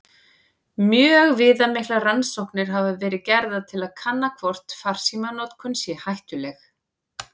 Mjög viðamiklar rannsóknir hafa verið gerðar til að kanna hvort farsímanotkun sé hættuleg.